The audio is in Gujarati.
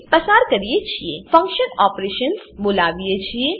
ફંકશન ઓપરેશન્સ ફંક્શન ઓપેરેશન્સ બોલાવીએ છીએ